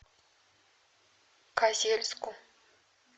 козельску